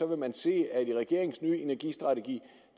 man se at i regeringens nye energistrategi